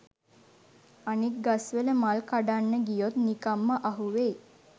අනෙක් ගස්වල මල් කඩන්න ගියොත් නිකංම අහුවෙයි